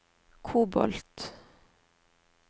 kobolt